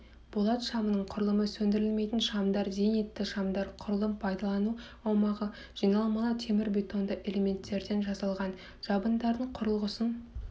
болат шамының құрылымы сөндірілмейтін шамдар зенитті шамдар құрылым пайдалану аумағы жиналмалы темірбетонды элементтерден жасалған жабындардың құрылғысын